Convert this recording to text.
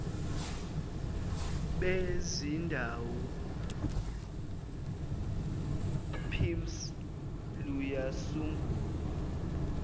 bezindawo pimss luyasungulwa